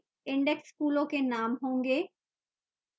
index फूलों के names होंगे